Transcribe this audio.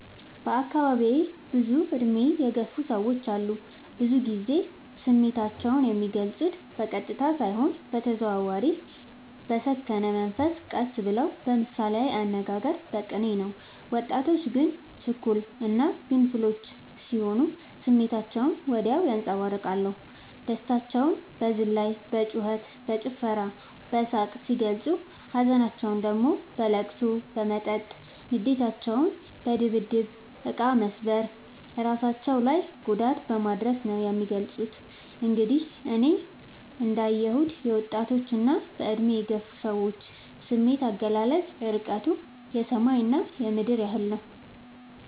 በአካባቢዬ ብዙ እድሜ የገፉ ሰዎች አሉ። ብዙ ግዜ ስሜታቸው የሚልፁት በቀጥታ ሳይሆን በተዘዋዋሪ በሰከነ መንፈስ ቀስ ብለው በምሳሌያዊ አነጋገር በቅኔ ነው። ወጣቶች ግን ችኩል እና ግንፍሎች ስሆኑ ስሜታቸውን ወዲያው ያንፀባርቃሉ። ደስታቸውን በዝላይ በጩከት በጭፈራ በሳቅ ሲገልፁ ሀዘናቸውን ደግሞ በለቅሶ በመጠጥ ንዴታቸውን በድብድብ እቃ መሰባበር እራሳቸው ላይ ጉዳት በማድረስ ነው የሚገልፁት። እንግዲህ እኔ እንዳ የሁት የወጣቶች እና በእድሜ የገፉ ሰዎች ስሜት አገላለፅ እርቀቱ የሰማይ እና የምድር ያህል ነው።